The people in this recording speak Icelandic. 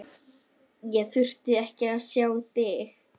Hvernig nýtir landsliðið þessa tvo daga fram að leik?